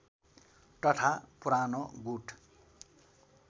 तथा पुरानो गुड